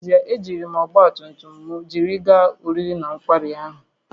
N’ezie, ejiri m ọgba tum tum m jiri gaa oriri na nkwari ahụ